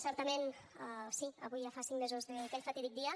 certament sí avui ja fa cinc mesos d’aquell fatídic dia